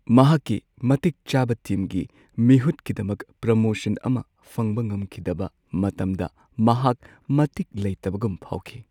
ꯃꯍꯥꯛꯀꯤ ꯃꯇꯤꯛ ꯆꯥꯕ ꯇꯤꯝꯒꯤ ꯃꯤꯍꯨꯠꯀꯤꯗꯃꯛ ꯄ꯭ꯔꯃꯣꯁꯟ ꯑꯃ ꯐꯪꯕ ꯉꯝꯈꯤꯗꯕ ꯃꯇꯝꯗ ꯃꯍꯥꯛ ꯃꯇꯤꯛ ꯂꯩꯇꯕꯒꯨꯝ ꯐꯥꯎꯈꯤ꯫